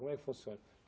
Como é que funciona?